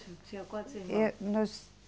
Tinha quantos irmãos? Eu, nós